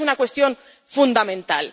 Y esta es una cuestión fundamental.